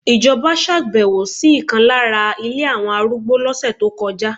Ijoba ṣàbẹ̀wò sí ìkan lára ilé àwọn arúgbó lọ́sẹ̀ tó kọjá